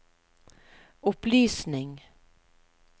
opplysning